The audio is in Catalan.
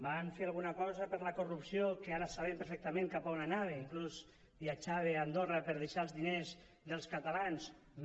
van fer alguna cosa per la corrupció que ara sabem perfectament cap a on anava inclús viatjava a andorra per deixar els diners dels catalans no